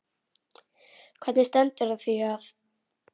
Hvernig stendur á því að